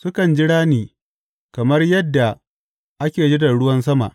Sukan jira ni kamar yadda ake jiran ruwan sama.